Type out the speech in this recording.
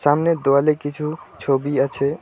সামনের দোওয়ালে কিছু ছবি আছে।